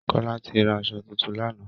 Kọ́lá ti ra asọ tuntun lánàá